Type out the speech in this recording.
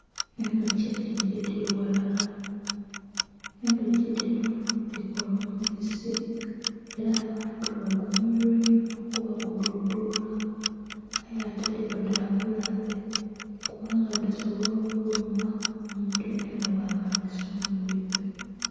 Edhuki enhingi edhiri aghalala, edhuki dhino dhikola omubisi era abantu bagunhumirwa inho kuba gudhudhula aye ate dhiba dabulabe kuba nga dhisobola okuluma omuntu yenayena bwaba adhi sumbughe.